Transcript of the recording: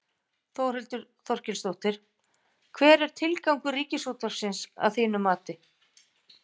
Þórhildur Þorkelsdóttir: Hver er tilgangur Ríkisútvarpsins að þínu mati?